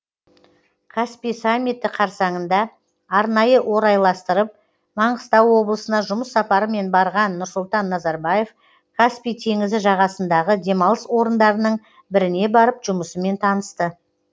каспий саммиті қарсаңында арнайы орайластырып маңғыстау облысына жұмыс сапарымен барған нұрсұлтан назарбаев каспий теңізі жағасындағы демалыс орындарының біріне барып жұмысымен танысты